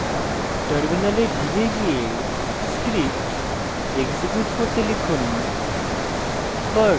terminal ফিরে গিয়ে script execute করতে লিখুন